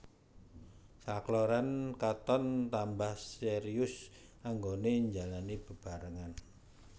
Sakloron katon tambah serius anggoné njalani bebarengan